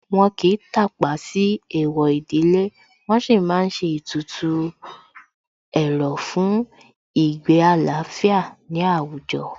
Wọ́n kìí tàpá sí Èèwọ̀ ìdílé, wọn sì má ń ṣe ètùtù ẹ̀rọ̀ fún ìgbé àlàáfíà ní àwùjọ